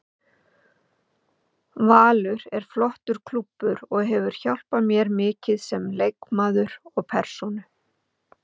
Valur er flottur klúbbur og hefur hjálpað mér mikið sem leikmaður og persónu.